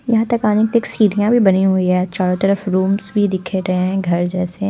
यहाँ तक आने की सीढ़ियाँ भी बनी हुई हैं चारों तरफ रूम्स भी दिख रहे हैं घर जैसे--